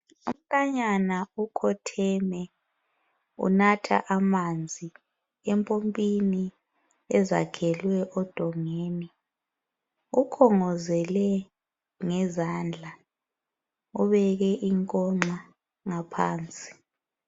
Umfanyana ukhotheme unatha amanzi empompini ezakhelwe edongeni. Ukhongozele ngezandla ubeke inkonxa ngaphansi.